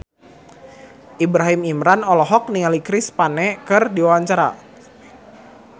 Ibrahim Imran olohok ningali Chris Pane keur diwawancara